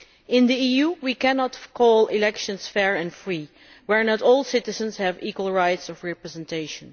In the EU we cannot call elections fair and free where not all citizens have equal rights of representation.